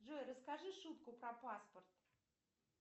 джой расскажи шутку про паспорт